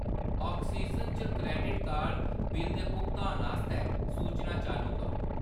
Oxygen च credit card bill दे भुगतान आस्तै सूचनां चालू करो।